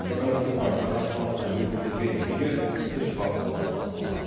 жаңа жылда жаңа талапқа негізделген жүйе үш бағытқа топтастырылған